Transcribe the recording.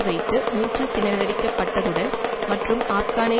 வைத்து மூச்சுத்திணறடிக்கப்பட்டதுடன் மற்றும் ஆப்கானை